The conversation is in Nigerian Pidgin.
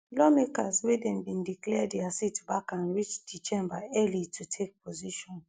lawmakers wey dem bin declare dia seats vacant reach di chamber early to take position